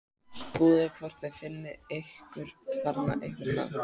Skoðið hvort þið finnið ykkur þarna einhvers staðar